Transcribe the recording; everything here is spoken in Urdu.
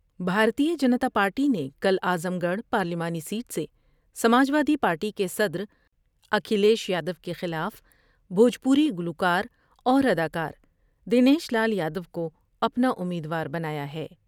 بھارتیہ جنتا پارٹی نے کل اعظم گڑھ پارلیمانی سیٹ سے سماجوادی پارٹی کے صدر اکھلیش یادو کے خلاف بھوجپوری گلوکار اور ادا کار دنیش لال یادو کو اپنا امیدوار بنایا ہے ۔